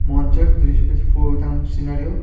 মঞ্চের সিনারিয়ো ।